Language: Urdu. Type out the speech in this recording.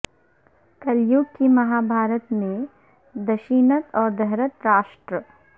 کل یگ کی مہابھارت میں دشینت اور دھرت راشٹر